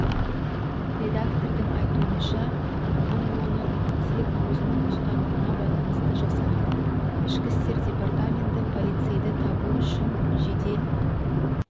редактордың айтуынша бұл оны тек өзінің ұстанымына байланысты жасаған ішкі істер департаменті полицейді табу үшін жедел